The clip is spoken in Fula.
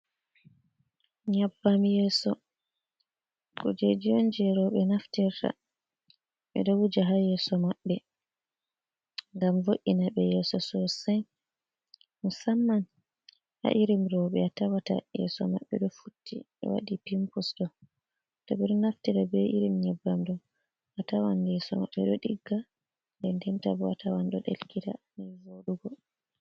Nyabbam yeso kujeji on je roɓe naftirta, ɓe ɗo wuja ha yeso maɓɓe ngam vo’ina be yeso sossai musamman ha irim roɓe a tawata yeso mabɓe do futti ɓe wadi pimpus do, to ɓe ɗo naftira be irim nyebbam ɗo a tawan yeso mabɓe ɗo digga, nden ndenta bo a tawan ɗo ɗelkita nii voɗugo.